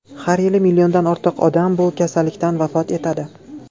Har yili milliondan ortiq odam bu kasallikdan vafot etadi.